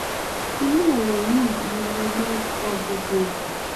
ìnú ẹrọ yìí ní mo máa ń kọ gbogbo ètò